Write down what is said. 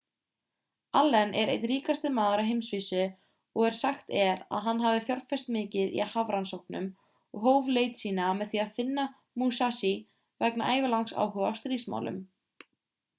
allen er einn ríkasti maður á heimsvísu og sagt er að hann hafi fjárfest mikið í hafrannsóknum og hóf leit sína með því að finna musashi vegna ævilangs áhuga á stríðsmálum